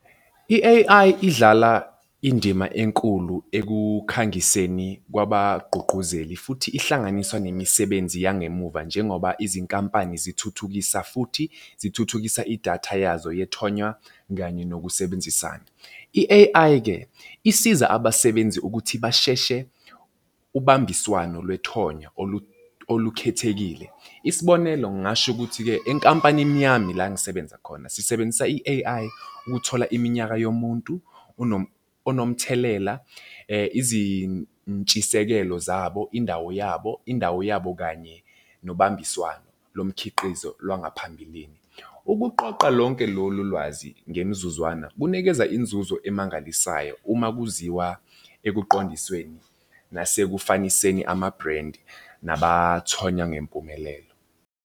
I-A_I idlala indima enkulu ekukhangiseni kwabagqugquzeli futhi ihlanganiswa nemisebenzi yangemuva njengoba izinkampani zithuthukisa futhi zithuthukisa idatha yazo yethonya kanye nokusebenzisana. I-A_I-ke isiza abasebenzi ukuthi basheshe ubambiswano lethonyana olukhekhekile. Isibonelo ngingasho ukuthi-ke enkampanini yami la ngisebenza khona sisebenzisa i-A_I ukuthola iminyaka yomuntu onomthelela, izintshisekelo zabo, indawo yabo, indawo yabo kanye nobambiswano lomkhiqizo langaphambilini. Ukuqoqa lonke lolu lwazi ngemzuzwana kunikeza inzuzo emangalisayo uma kuziwa ekuqondisweni nasekufaniseni amabhrendi nabathonya ngempumelelo.